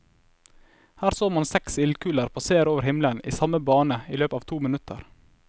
Her så man seks ildkuler passere over himmelen i samme bane i løpet av to minutter.